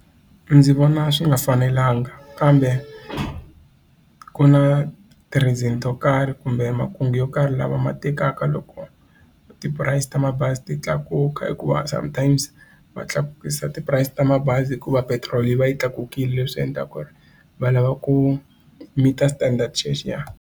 Ndzi vona swi nga fanelanga kambe ku na ti-reason to karhi kumbe makungu yo karhi lama ma tekaka loko ti-price ta ma mabazi ti tlakuka hikuva sometimes va tlakukisa ti-price ta mabazi hikuva petiroli yi va yi tlakukile leswi endlaka va lava ku meet-a standard xexiya.